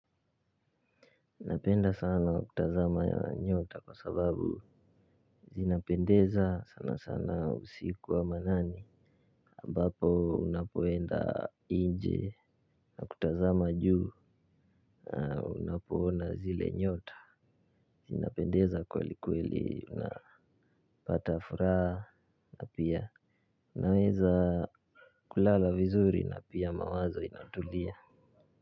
Napenda sana kutazama nyota kwa sababu zinapendeza sana sana usiku wa manane ambapo unapoenda inje nakutazama juu unapoona zile nyota zinapendeza kweli kweli unapata furaa na pia unaweza kulala vizuri na pia mawazo inatulia.